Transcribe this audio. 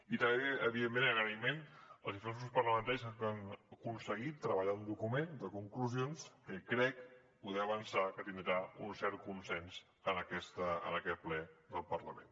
i també evidentment agraïment als diferents grups parlamentaris que han aconseguit treballar un document de conclusions que crec poder avançar que tindrà un cert consens en aquest ple del parlament